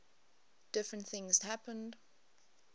different things happened